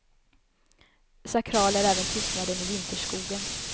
Sakral är även tystnaden i vinterskogen.